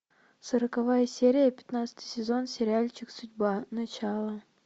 сороковая серия пятнадцатый сезон сериальчик судьба начало